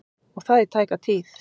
Og það í tæka tíð.